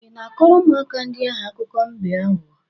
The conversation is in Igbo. Ị na-akọrọ ụmụaka ndị ahụ akụkọ mbe aghụghọ?